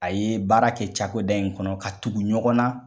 A ye baara kɛ cakoda in kɔnɔ ka tugu ɲɔgɔn na.